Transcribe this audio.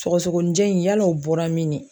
Sɔgɔsɔgɔnijɛ in yala o bɔra min de.